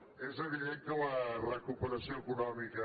és evident que la recuperació econòmica